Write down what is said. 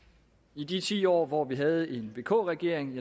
i de ti år hvor vi havde en vk regering